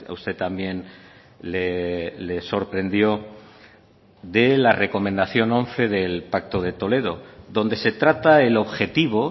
usted también le sorprendió de la recomendación once del pacto de toledo donde se trata el objetivo